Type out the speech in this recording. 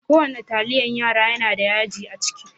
Ko wanna taliyan yara yana da yaji a ciki.